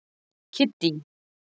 Kiddý